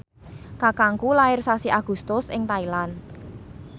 kakangku lair sasi Agustus ing Thailand